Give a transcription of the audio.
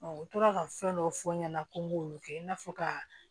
u tora ka fɛn dɔw fɔ n ɲɛna ko n k'olu kɛ i n'a fɔ ka